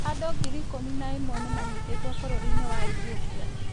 Andũ ngiri ikumi na ĩmwe nĩ manyitĩtwo bũrũri-inĩ wa Ethiopia.